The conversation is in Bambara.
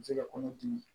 Se ka kɔnɔ dimi